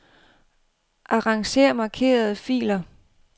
Arranger markerede filer.